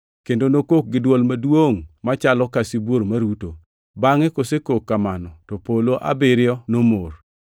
kendo nokok gi dwol maduongʼ machalo ka sibuor maruto. Bangʼ kosekok kamano to polo abiriyo nomor.